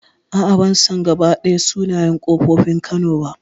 A'a ban san gabaɗaya sunayen ƙofofin kano ba